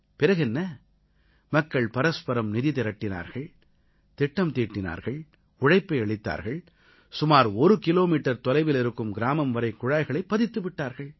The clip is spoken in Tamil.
பிறகு என்ன மக்கள் பரஸ்பரம் நிதி திரட்டினார்கள் திட்டம் தீட்டினார்கள் உழைப்பை அளித்தார்கள் சுமார் ஒரு கிலோமீட்டர் தொலைவில் இருக்கும் கிராமம் வரை குழாய்களைப் பதித்து விட்டார்கள்